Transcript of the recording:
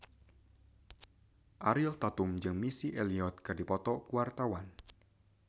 Ariel Tatum jeung Missy Elliott keur dipoto ku wartawan